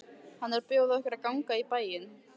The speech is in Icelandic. Hann er að bjóða okkur að ganga í bæinn.